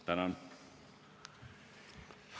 Tänan!